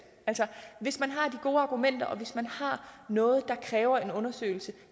altså hvis man har de gode argumenter og hvis man har noget der kræver en undersøgelse